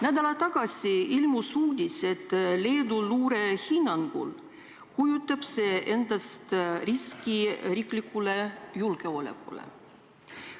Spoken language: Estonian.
Nädal aega tagasi ilmus uudis, et Leedu luure hinnangul kujutab see endast riski riigi julgeolekule.